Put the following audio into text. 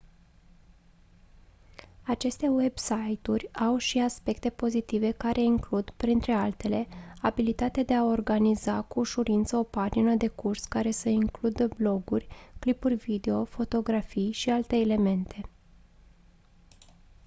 aceste website-uri au și aspecte pozitive care includ printre altele abilitatea de a organiza cu ușurință o pagină de curs care să includă bloguri clipuri video fotografii și alte elemente